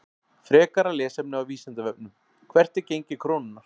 Frekara lesefni á Vísindavefnum: Hvert er gengi krónunnar?